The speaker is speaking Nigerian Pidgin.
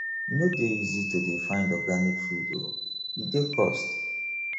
e no dey easy to dey find organic food o e dey cost